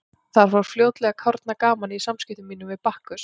Þá fór fljótlega að kárna gamanið í samskiptum mínum við Bakkus.